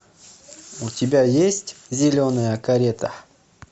у тебя есть зеленая карета